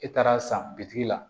E taara san bitigi la